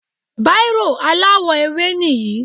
Bírò aláwọ̀-ewé níyìn